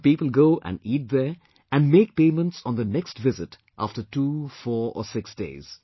So people go and eat there and make payments on their next visit after 2, 4 or 6 days